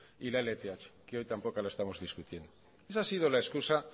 y la lth que hoy tampoco la estamos discutiendo esa ha sido la excusa